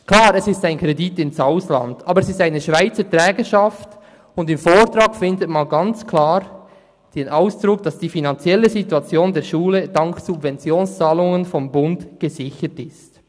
Klar, es ist ein Kredit ins Ausland, aber es besteht eine Schweizer Trägerschaft, und im Vortrag findet man ganz klar den Ausdruck, dass die finanzielle Situation der Schule dank Subventionszahlungen des Bundes gesichert ist.